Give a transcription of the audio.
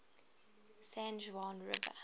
san juan river